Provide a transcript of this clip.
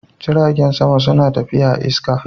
Jiragen sama suna tafiya a'iska.